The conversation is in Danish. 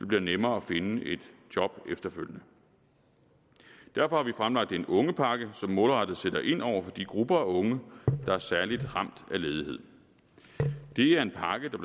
bliver nemmere at finde et job efterfølgende derfor har vi fremlagt en ungepakke som målrettet sætter ind over for de grupper af unge der er særlig ramt af ledighed det er en pakke der